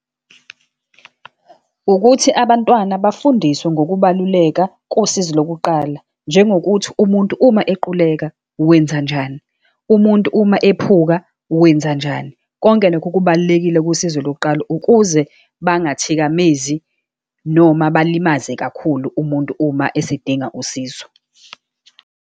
Ukuthi abantwana bafundiswe ngokubaluleka kosizi lokuqala, njengokuthi umuntu uma equleka wenzanjani, umuntu uma ephuka wenzanjani. Konke lokho kubalulekile kusizo lokuqala, ukuze bangathikamezi, noma balimaze kakhulu umuntu uma esedinga usizo.